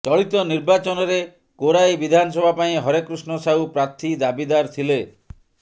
ଚଳିତ ନିର୍ବାଚନରେ କୋରାଇ ବିଧାନସଭା ପାଇଁ ହରେକୃଷ୍ଣ ସାହୁ ପ୍ରାର୍ଥି ଦାବିଦାର ଥିଲେ